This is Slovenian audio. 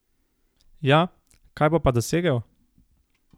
Ja, kaj bo pa dosegel?